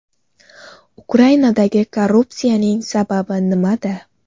Ukrainadagi korrupsiyaning sababi nimada?